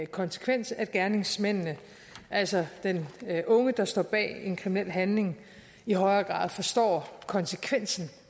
konsekvens at gerningsmanden altså den unge der står bag en kriminel handling i højere grad forstår konsekvensen